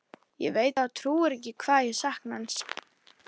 Ég veit þú trúir ekki hvað ég sakna hans.